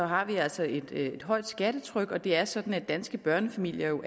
har vi altså et et højt skattetryk og det er sådan at danske børnefamilier jo